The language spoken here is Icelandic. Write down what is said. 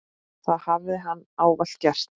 Það hafi hann ávallt gert.